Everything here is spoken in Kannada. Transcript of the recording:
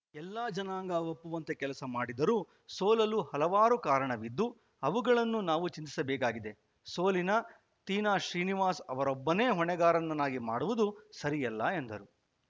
ಎಲ್ಲ ಜನಾಂಗ ಒಪ್ಪುವಂತೆ ಕೆಲಸ ಮಾಡಿದರೂ ಸೋಲಲು ಹಲವಾರು ಕಾರಣವಿದ್ದು ಅವುಗಳನ್ನು ನಾವು ಚಿಂತಿಸಬೇಕಾಗಿದೆ ಸೋಲಿನ ತೀನಾಶ್ರೀನಿವಾಸ ಅವರೊಬ್ಬರನ್ನೇ ಹೊಣೆಗಾರರನ್ನಾಗಿ ಮಾಡುವದು ಸರಿಯಲ್ಲ ಎಂದರು